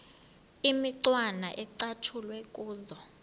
imicwana ecatshulwe kuzo